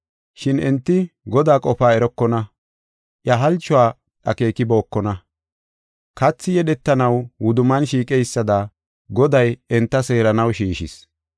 Shin enti Godaa qofaa erokona; iya halchuwa akeekibokona. Kathi yedhetanaw wudumman shiiqeysada, Goday enta seeranaw shiishis.